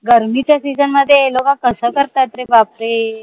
गर्मीच्या session मध्ये हे लोक कस करतात रे बापरे